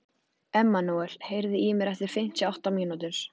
Emmanúel, heyrðu í mér eftir fimmtíu og átta mínútur.